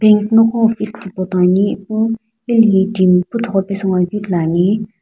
noqo office tipo toi ani ipu hilehi timi puthugho pesu ngoakeu ithuluani.